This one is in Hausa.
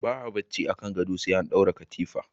Ba a barci akan gado sai an dora katifa.